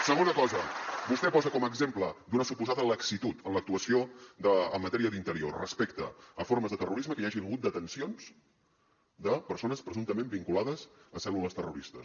segona cosa vostè posa com a exemple d’una suposada laxitud en l’actuació en matèria d’interior respecte a formes de terrorisme que hi hagi hagut detencions de persones presumptament vinculades a cèl·lules terroristes